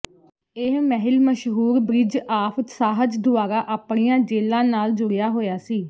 ਇਹ ਮਹਿਲ ਮਸ਼ਹੂਰ ਬ੍ਰਿਜ ਆਫ ਸਾਹਜ਼ ਦੁਆਰਾ ਆਪਣੀਆਂ ਜੇਲ੍ਹਾਂ ਨਾਲ ਜੁੜਿਆ ਹੋਇਆ ਸੀ